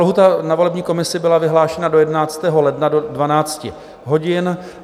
Lhůta na volební komisi byla vyhlášena do 11. ledna do 12 hodin.